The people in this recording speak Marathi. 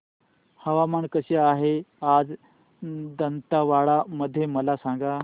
हवामान कसे आहे आज दांतेवाडा मध्ये मला सांगा